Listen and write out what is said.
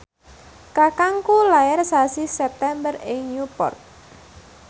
kakangku lair sasi September ing Newport